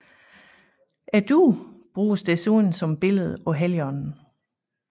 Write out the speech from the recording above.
Duen bruges desuden som billede på Helligånden